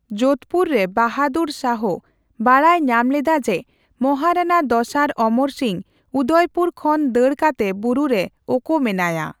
ᱡᱳᱫᱷᱯᱩᱨ ᱨᱮ ᱵᱟᱦᱟᱫᱩᱨ ᱥᱟᱦᱚ ᱵᱟᱰᱟᱭ ᱧᱟᱢ ᱞᱮᱫᱟ ᱡᱮ ᱢᱚᱦᱟᱨᱟᱱᱟ ᱫᱚᱥᱟᱨ ᱚᱢᱚᱨ ᱥᱤᱝ ᱩᱫᱚᱭᱯᱩᱨ ᱠᱷᱚᱱ ᱫᱟᱹᱲ ᱠᱟᱛᱮ ᱵᱩᱨᱩ ᱨᱮ ᱳᱠᱳ ᱢᱮᱱᱟᱭᱟ ᱾